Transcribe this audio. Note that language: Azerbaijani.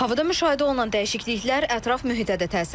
Havada müşahidə olunan dəyişikliklər ətraf mühitə də təsir edir.